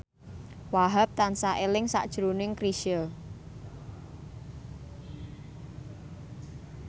Wahhab tansah eling sakjroning Chrisye